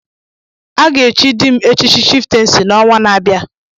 A ga-echi dị m echichi chiftensi n'ọnwa na-abịa.